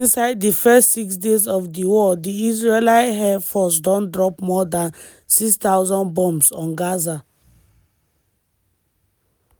just inside di first six days of di war di israeli air force don drop more dan 6000 bombs on gaza.